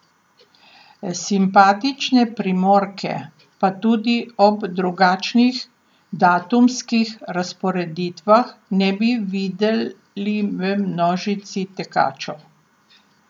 Simpatične Primorke pa tudi ob drugačnih datumskih razporeditvah ne bi videli v množici tekačev.